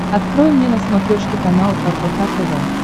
открой мне на смотрешке канал рбк тв